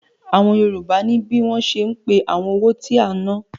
Àwọn Yorùbá ní bí wọ́n ṣe ń pé àwọn owó tí a ń ná.